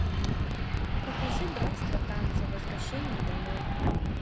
покажи братство танца возвращение домой